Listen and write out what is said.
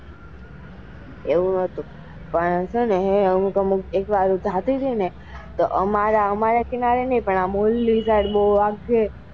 એવું નાતુ પણ એવું છે ને અમુક અમુક એક વાર હું જતી હતી ને પણ અમારા કિનારે ની પણ ઓલ્લી side બઉ આવતી.